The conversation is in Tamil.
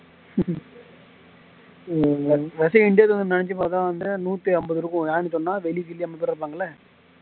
வந்து நூத்திஅம்பது இருக்கு ஏன்னு சொன்ன